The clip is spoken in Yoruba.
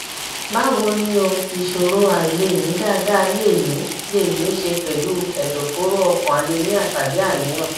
báwo ni o ìṣòro àìlèmí dáadáa lè ní lè ní í ṣe pẹlú ẹdọfóró ọkàn anemia tàbí àníyàn